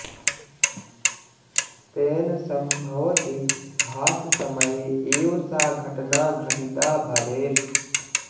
तेन सम्भवति भाससमये एव सा घटना घटिता भवेत्